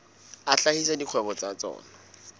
a hlahisa dikgwebo tsa tsona